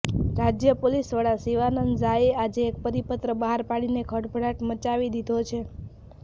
રાજય પોલીસવડા શિવાનંદ ઝાએ આજે એક પરિપત્ર બહાર પાડીને ખળભળાટ મચાવી દીધો છે